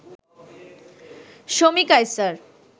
Shomi Kaiser